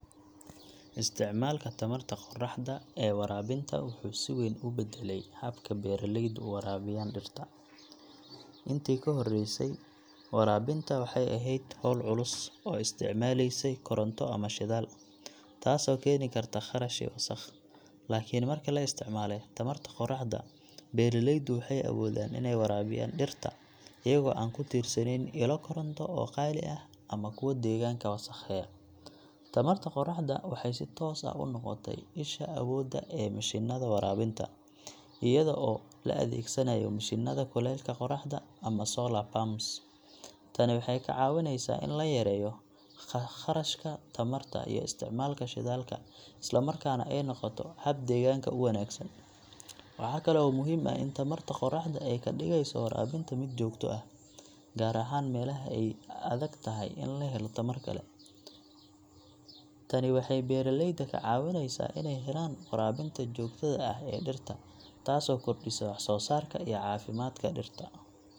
Isticmaalka tamarta qoraxda ee waraabinta wuxuu si weyn u beddelay habka beeralaydu u waraabiyaan dhirta. Intii ka horreysay, waraabinta waxay ahayd hawl culus oo isticmaaleysay koronto ama shidaal, taasoo keeni karta kharash iyo wasakh. Laakiin marka la isticmaalay tamarta qoraxda, beeralaydu waxay awoodaan inay waraabiyaan dhirta iyagoo aan ku tiirsaneyn ilo koronto oo qaali ah ama kuwo deegaanka wasakheeya. Tamarta qoraxda waxay si toos ah u noqotay isha awoodda ee mishiinada waraabinta, iyada oo la adeegsanayo mishiinada kuleylka qoraxda ama solar pumps . Tani waxay ka caawineysaa in la yareeyo kharashka tamarta iyo isticmaalka shidaalka, isla markaana ay noqoto hab deegaanka u wanaagsan. Waxa kale oo muhiim ah in tamarta qoraxda ay ka dhigeyso waraabinta mid joogto ah, gaar ahaan meelaha ay adag tahay in la helo tamar kale. Tani waxay beeralayda ka caawineysaa inay helaan waraabinta joogtada ah ee dhirta, taasoo kordhisa wax-soo-saarka iyo caafimaadka dhirta.